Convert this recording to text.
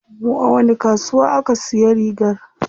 A wani kasuwa aka siya rigar?